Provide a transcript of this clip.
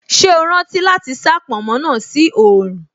Ṣé o rántí láti sá pònmó náà sí oòrùn